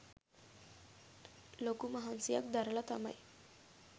ලොකු මහන්සියක් දරල තමයි